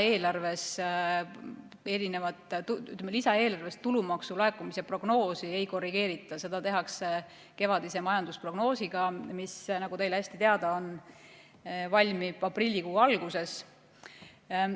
Lisaeelarves tulumaksu laekumise prognoosi ei korrigeerita, seda tehakse kevadise majandusprognoosiga, mis, nagu teile hästi teada, valmib aprillikuu alguses.